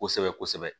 Kosɛbɛ kosɛbɛ